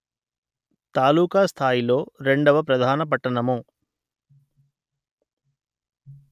తాలూకా స్థాయిలో రెండవ ప్రధాన పట్టణము